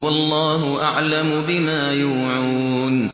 وَاللَّهُ أَعْلَمُ بِمَا يُوعُونَ